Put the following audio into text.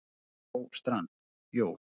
Einar Þór Strand: Jú.